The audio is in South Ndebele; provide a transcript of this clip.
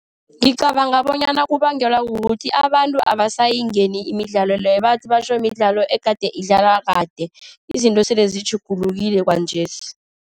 Ngicabanga bonyana kubangelwa kukuthi abantu abasayingeni imidlalo leyo. Bathi batjho midlalo egade idlalwa kade, izinto sele zitjhugulukile kwanjesi.